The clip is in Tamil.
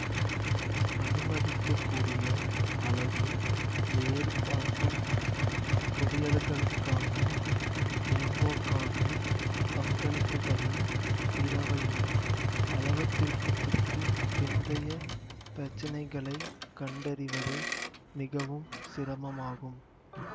அனுமதிக்கக்கூடிய அளவு வேறுபாட்டு குவியல்களுக்கான மேம்போக்கான பங்களிப்புகளும் பிறவையும் அளவுத்திருத்தத்திற்குப் பிந்தைய பிரச்சினைகளை கண்டறிவது மிகவும் சிரமமாகும்